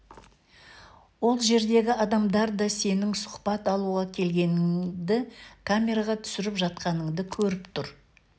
ол жердегі адамдар да сенің сұхбат алуға келгеніңді камераға түсіріп жатқаныңды көріп тұр